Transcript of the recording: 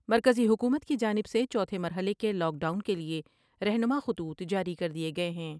مرکزی حکومت کی جانب سے چوتھے مرحلے کے لاک ڈاؤن کے لئے رہنما خطوط جاری کر دیئے گئے ہیں ۔